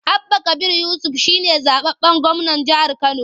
Abba Kabir Yusuf shi ne zaɓaɓɓen gwamnan jihar Kano.